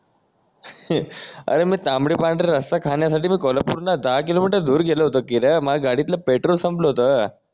हे अरे मी तांबड पांढरे रस्सा खाण्यासाठी मी कोल्हापूर वरणा दहा किलोमीटर दूर गेलो होतो की र माझ्या गाडीतलं पेट्रोल संपलं होतं